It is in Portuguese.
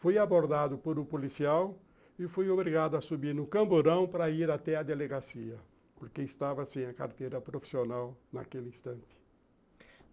Fui abordado por um policial e fui obrigado a subir no camburão para ir até a delegacia, porque estava sem a carteira profissional naquele instante.